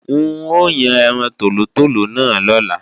N o yàn ẹran tòlótòló náà lọ́la